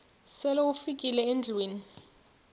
sele ufikile endlwini